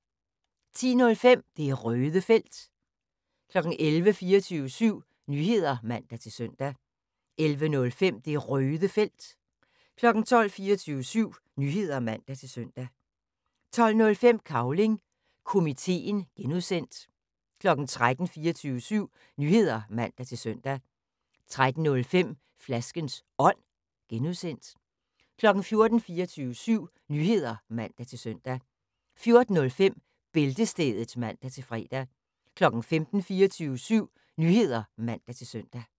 10:05: Det Røde Felt 11:00: 24syv Nyheder (man-søn) 11:05: Det Røde Felt 12:00: 24syv Nyheder (man-søn) 12:05: Cavling Komiteen (G) 13:00: 24syv Nyheder (man-søn) 13:05: Flaskens Ånd (G) 14:00: 24syv Nyheder (man-søn) 14:05: Bæltestedet (man-fre) 15:00: 24syv Nyheder (man-søn)